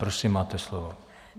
Prosím, máte slovo.